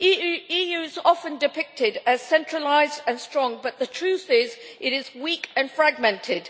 The EU is often depicted as centralised and strong, but the truth is, it is weak and fragmented.